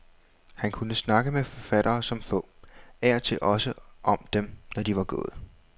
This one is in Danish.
Han kunne snakke med forfattere som få, af og til også om dem, når de var gået.